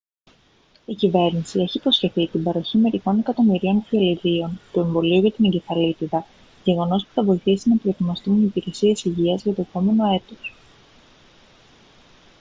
η κυβέρνηση έχει υποσχεθεί την παροχή μερικών εκατομμυρίων φιαλιδίων του εμβολίου για την εγκεφαλίτιδα γεγονός που θα βοηθήσει να προετοιμαστούν οι υπηρεσίες υγείας για το επόμενο έτος